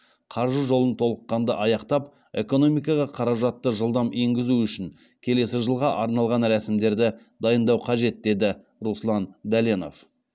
қаржы жолын толыққанды аяқтап экономикаға қаражатты жылдам еңгізу үшін келесі жылға арналған рәсімдерді дайындау қажет деді руслан дәленов